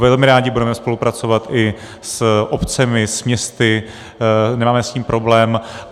Velmi rádi budeme spolupracovat i s obcemi, s městy, nemáme s tím problém.